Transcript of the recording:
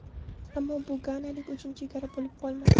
Ammo bu ganalik uchun chegara bo‘lib qolmadi.